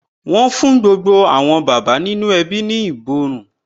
Wọn fún gbogbo àwọn bàbá nínú ẹbí ní ìborùn